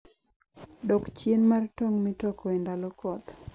dak chien mar tong' mitoko e ndalo koth.